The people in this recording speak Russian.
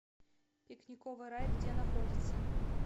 пикниковый рай где находится